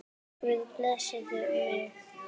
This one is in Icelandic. Guð blessi mig.